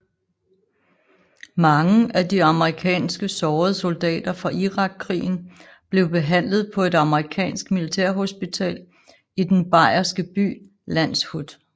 Mange af de amerikanske sårede soldater fra Irakkrigen blev behandlet på et amerikansk militærhospital i den bayerske by Landshut